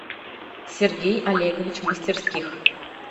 сергей олегович мастерских